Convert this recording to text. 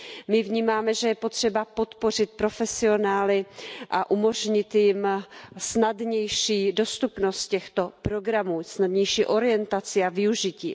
My vnímáme, že je potřeba podpořit profesionály a umožnit jim snadnější dostupnost těchto programů, snadnější orientaci a využití.